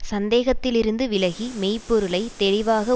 சந்தேகத்திலிருந்து விலகி மெய்ப்பொருளைத் தெளிவாக